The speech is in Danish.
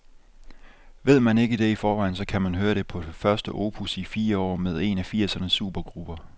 Ved man ikke det i forvejen, så kan man høre det på det første nye opus i fire år med en af firsernes supergrupper.